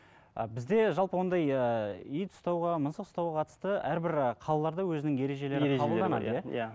і бізде жалпы ондай ыыы ит ұстауға мысық ұстауға қатысты әрбір қалаларда өзінің иә